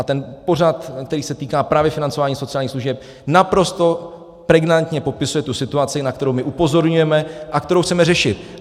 A ten pořad, který se týká právě financování sociálních služeb, naprosto pregnantně popisuje tu situaci, na kterou my upozorňujeme a kterou chceme řešit.